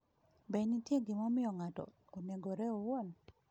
Be nitie gimomiyo ng’ato onegore owuon?